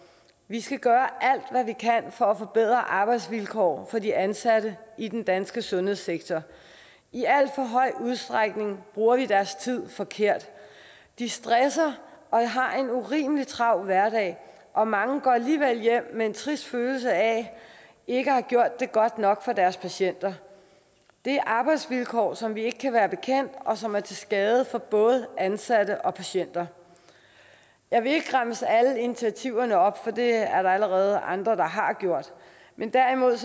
vi skal gøre alt hvad vi kan for at forbedre arbejdsvilkår for de ansatte i den danske sundhedssektor i alt for høj udstrækning bruger vi deres tid forkert de stresser og har en urimelig travl hverdag og mange går alligevel hjem med en trist følelse af ikke at have gjort det godt nok for deres patienter det er arbejdsvilkår som vi ikke kan være bekendt og som er til skade for både ansatte og patienter jeg vil ikke remse alle initiativerne op for det er der allerede andre der har gjort men derimod